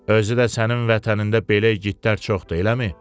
Özü də sənin vətənində belə igidlər çoxdur, eləmi?